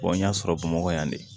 n y'a sɔrɔ bamakɔ yan de